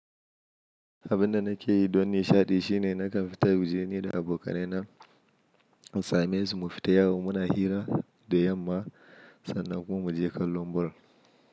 Abin da nake yi don nishaɗi shine nakan fita waje ne da abokanai na in Samesu mu fita yawon muna hira da yamma sannan kuma mu je kallon ball.